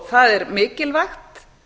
það er mikilvægt